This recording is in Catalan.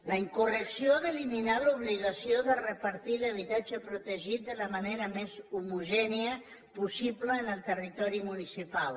la incorrecció d’eliminar l’obligació de repartir l’habitatge protegit de la manera més homogènia possible en el territori municipal